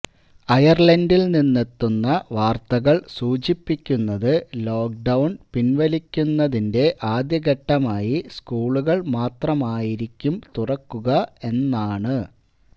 അയർലൻഡിൽ നിന്നെത്തുന്ന വാർത്തകൾ സൂചിപ്പിക്കുന്നത് ലോക്ക്ഡൌൺ പിൻവലിക്കുന്നതിന്റെ ആദ്യഘട്ടമായി സ്കൂളുകൾ മാത്രമായിരിക്കും തുറക്കുക എന്നാണ്